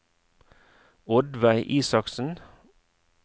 Oddveig Isaksen